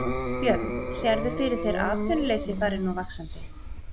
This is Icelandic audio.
Björn: Sérðu fyrir þér að atvinnuleysi fari nú vaxandi?